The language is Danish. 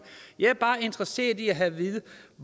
jeg er bare interesseret i at få at vide